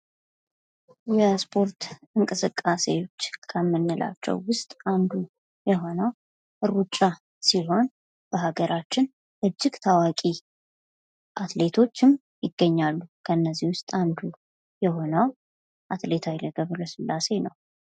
የስፖርት እንቅስቃሴዎች ከምንላቸው ውስጥ አንዱ የሆነው ሩጫ ሲሆን በሀገራችን እጅግ ታዋቂ ከአትሌቶችን ይገኛሉ ከነዚህም ውስጥ አንዱ የሆነው አትሌት ሃይሌ ገብረስላሴ ነው።